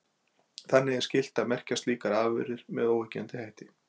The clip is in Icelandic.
Þannig er nú skylt að merkja slíkar afurðir með óyggjandi hætti.